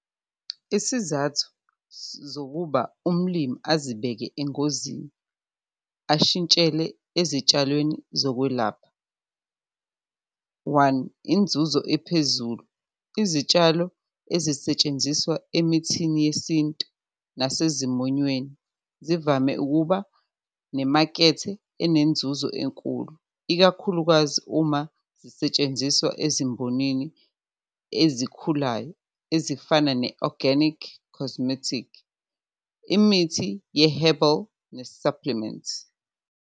Isizathu zokuba umlimi azibeke engozini ashintshele ezitshalweni zokwelapha. One, inzuzo ephezulu, izitshalo ezisetshenziswa emithini yesintu nasezimonyweni zivame ukuba nemakethe enenzuzo enkulu, ikakhulukazi uma zisetshenziswa ezimbonini ezikhulayo ezifana ne-organic cosmetic, imithi ye-herbal, ne-supplements.